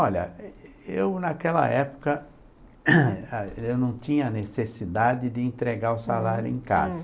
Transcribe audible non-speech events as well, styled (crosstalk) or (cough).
Olha, eu naquela época, (coughs) eu não tinha necessidade de entregar o salário em casa.